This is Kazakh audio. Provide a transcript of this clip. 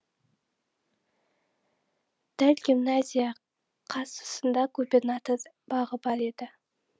дәл гимназия қарсысында губернатор бағы бар еді